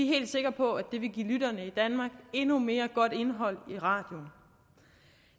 helt sikre på at det vil give lytterne i danmark endnu mere godt indhold i radioen